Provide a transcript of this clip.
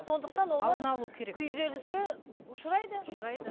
сондықтан күйзеліске ұшырайды ұшырайды